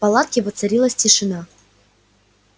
в палатке воцарилась тишина